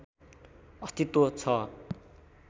अस्तित्व छ